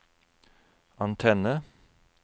antenne